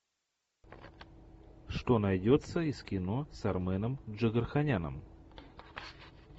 что найдется из кино с арменом джигарханяном